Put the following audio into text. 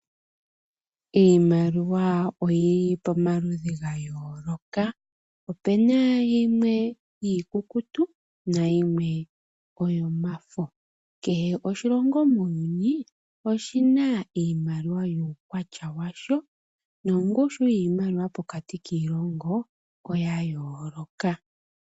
Iimaliwa oyili pamaludhi ga yooloka. Oopuna yimwe iikukutu, nayimwe yomafo. Kehe oshilongo muuyuni oshina iimaliwa yuukwatya washo, nongushu yiimaliwa pokati kiilongo oya yooloka.